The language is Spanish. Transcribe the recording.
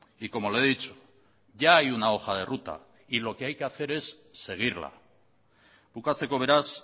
y como le he dicho ya hay una hoja de ruta y lo que hay que hacer es seguirla bukatzeko beraz